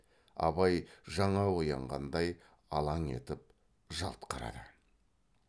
абай жаңа оянғандай алаң етіп жалт қарады